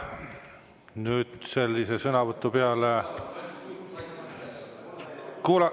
Nüüd sellise sõnavõtu peale …